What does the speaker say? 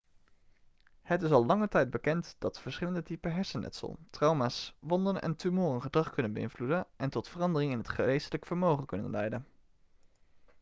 het is al lange tijd bekend dat verschillende typen hersenletsel trauma's wonden en tumoren gedrag kunnen beïnvloeden en tot veranderingen in het geestelijke vermogen kunnen leiden